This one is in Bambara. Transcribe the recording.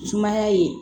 Sumaya ye